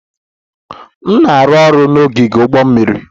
M na-arụ ọrụ n'ogige ụgbọ mmiri.